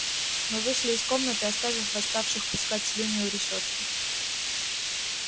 мы вышли из комнаты оставив восставших пускать слюни у решётки